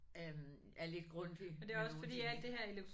Øh er lidt Grundtvig med nogle ting ik